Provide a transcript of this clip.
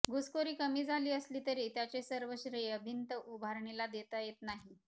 घुसखोरी कमी झाली असली तरी त्याचे सर्व श्रेय भिंत उभारणीला देता येत नाही